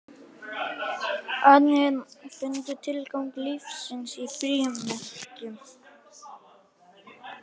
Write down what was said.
Aðrir fundu tilgang lífsins í frímerkjum.